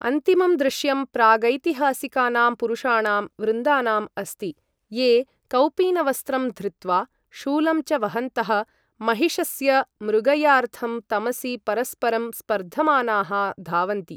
अन्तिमं दृश्यं प्रागैतिहासिकानां पुरुषाणां वृन्दानाम् अस्ति, ये कौपीनवस्त्रं धृत्वा, शूलं च वहन्तः, महिषस्य मृगयार्थं तमसि परस्परं स्पर्धमानाः, धावन्ति।